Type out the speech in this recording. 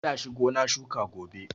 Za shi gona shuka gobe.